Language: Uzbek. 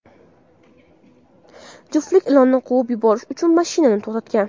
Juftlik ilonni quvib yuborish uchun mashinani to‘xtatgan.